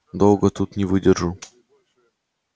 долго тут не выдержу